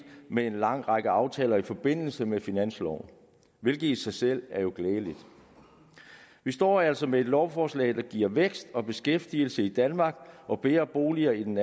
med en lang række aftaler i forbindelse med finansloven hvilket i sig selv jo er glædeligt vi står altså med et lovforslag der giver vækst og beskæftigelse i danmark og bedre boliger i den